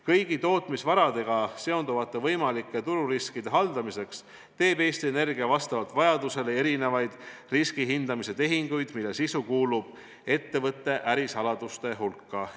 Kõigi tootmisvaradega seonduvate võimalike tururiskide haldamiseks teeb Eesti Energia vastavalt vajadusele erinevaid riskihindamise tehinguid, mille sisu kuulub ettevõtte ärisaladuste hulka.